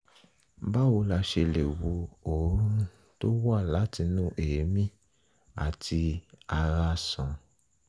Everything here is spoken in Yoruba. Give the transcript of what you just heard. báwo la ṣe la ṣe lè wo òórùn tó ń wá látinú èémí àti ara sàn?